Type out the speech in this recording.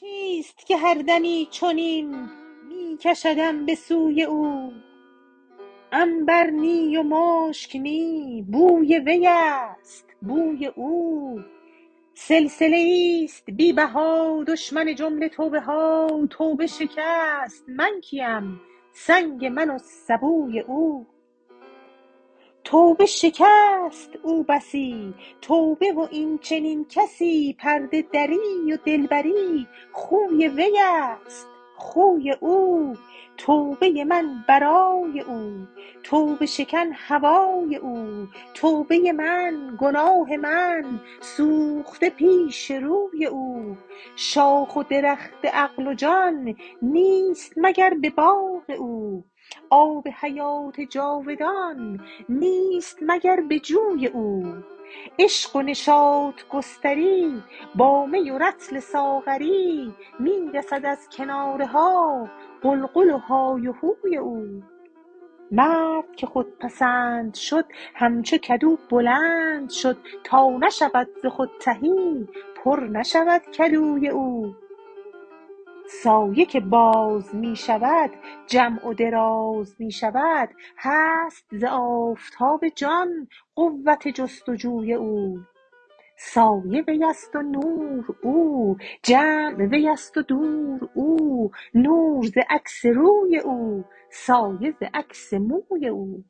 چیست که هر دمی چنین می کشدم به سوی او عنبر نی و مشک نی بوی وی است بوی او سلسله ای است بی بها دشمن جمله توبه ها توبه شکست من کیم سنگ من و سبوی او توبه شکست او بسی توبه و این چنین کسی پرده دری و دلبری خوی وی است خوی او توبه ی من برای او توبه شکن هوای او توبه من گناه من سوخته پیش روی او شاخ و درخت عقل و جان نیست مگر به باغ او آب حیات جاودان نیست مگر به جوی او عشق و نشاط گستری با می و رطل ساغری می رسد از کنارها غلغل و های هوی او مرد که خودپسند شد همچو کدو بلند شد تا نشود ز خود تهی پر نشود کدوی او سایه که باز می شود جمع و دراز می شود هست ز آفتاب جان قوت جست و جوی او سایه وی است و نور او جمع وی است و دور او نور ز عکس روی او سایه ز عکس موی او